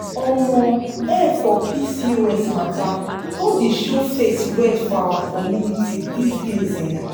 omo help for pcos matter don dey show face well for our community these days um